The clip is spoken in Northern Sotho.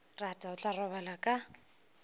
rata o tla robala ka